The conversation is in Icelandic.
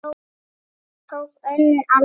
Síðan tók önnur alvara við.